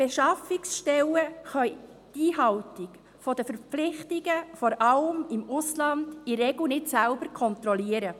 Besonders im Ausland können die Beschaffungsstellen in der Regel die Einhaltung der Verpflichtungen nicht selbst kontrollieren.